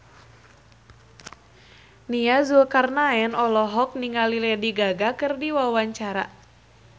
Nia Zulkarnaen olohok ningali Lady Gaga keur diwawancara